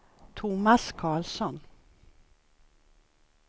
Thomas Carlsson